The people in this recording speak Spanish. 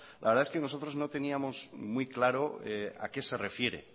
la verdad es que nosotros no teníamos muy claro a qué se refiere